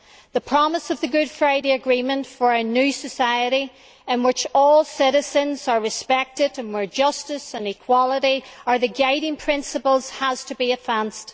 The promise of the Good Friday Agreement for a new society in which all citizens are respected and where justice and equality are the guiding principles has to be advanced.